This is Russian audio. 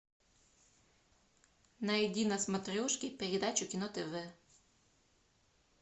найди на смотрешке передачу кино тв